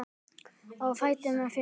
Á fætur með þig!